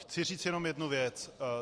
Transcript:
Chci říct jenom jednu věc.